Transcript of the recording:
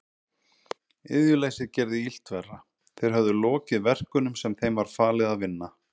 Iðjuleysið gerði illt verra, þeir höfðu lokið verkunum sem þeim var falið að vinna.